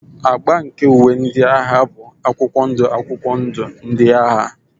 Agba nke uwe ndị agha bụ akwụkwọ ndụ akwụkwọ ndụ ndị agha.